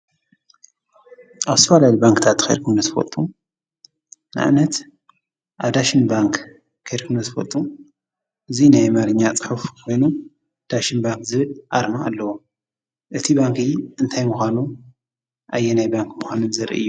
ኣብ ዝተፈላለዩ ባንኪታት ኸይድኩም ዶ ትፈልጡ? ንኣብነት ኣብ ዳሽን ባንክ ከድኩም ዶ ትፈልጡ ?እዚ ናይ ኣማርኛ ፅሑፍ ኮይኑ ዳሽን ባንክ ዝብል ኣርማ ኣለዎ። እቲ ባንኪ እንታይ ምኳኑ ኣየናይ ምኳኑ ዘርኢ እዩ።